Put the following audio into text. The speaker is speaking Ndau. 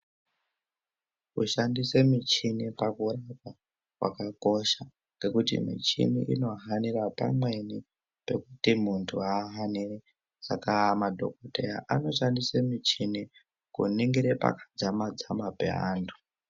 Kushandise michini kwakuwanikwa kwakakosha nekuti michini inohanira pamweni pekuti muntu haaoni saka madhokodheya anoshandise muchini kuningire paakadzama dzama pe vantu.